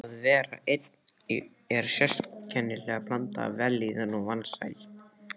Að vera einn er sérkennileg blanda af vellíðan og vansæld.